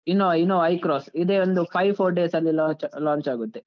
Innova, Innova Hycross ಇದೆ ಒಂದು five four days ಅಲ್ಲಿ launch launch ಆಗುತ್ತೆ.